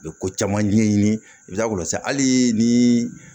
U bɛ ko caman ɲɛɲini i bɛ taa olu lase hali ni